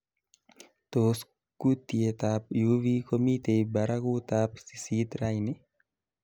Tos kutietab Uv komitei barakuutab sisit raini